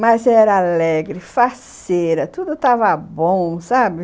Mas ela era alegre, faceira, tudo estava bom, sabe?